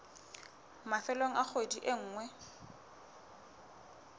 mafelong a kgwedi e nngwe